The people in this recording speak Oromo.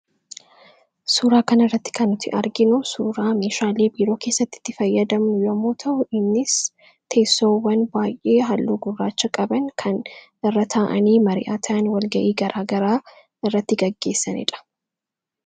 suuraa kan irratti kannuti arginu suuraa mishaalii biroo keessatti itti fayyadamu yommoo ta''inis teessoowwan baay'ee halluu gurraacha qaban kan irra taa'anii mari'aataan walga'ii garaagaraa irratti gaggeessaniidha